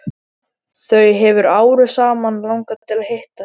Þau hefur árum saman langað til að hitta þig.